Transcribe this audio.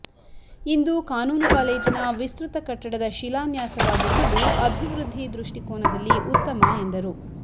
ಇಂದು ಕಾನೂನು ಕಾಲೇಜಿನ ವಿಸ್ತೃತ ಕಟ್ಟಡದ ಶಿಲಾನ್ಯಾಸವಾಗಿರುವುದು ಅಭಿವೃದ್ಧಿ ದೃಷ್ಟಿಕೋನದಲ್ಲಿ ಉತ್ತಮ ಎಂದರು